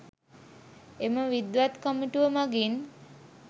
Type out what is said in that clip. එම විද්වත් කමිටුව මගින්